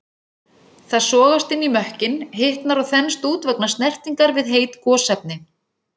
Það sogast inn í mökkinn, hitnar og þenst út vegna snertingar við heit gosefni.